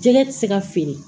Jɛgɛ tɛ se ka feere